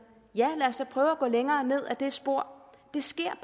ja lad os da prøve at gå længere ned ad det spor det sker